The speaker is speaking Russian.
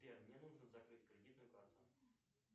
сбер мне нужно закрыть кредитную карту